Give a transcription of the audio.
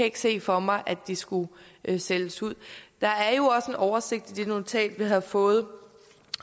ikke se for mig at de skulle sælges ud der er jo også oversigt i det notat vi har fået